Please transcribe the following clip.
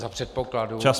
Za předpokladu -